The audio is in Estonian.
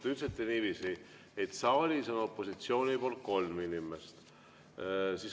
Te ütlesite niiviisi, et saalis on opositsioonist kolm inimest.